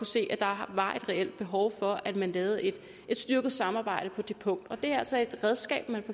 se at der var et reelt behov for at man lavede et styrket samarbejde på det punkt og det er altså et redskab man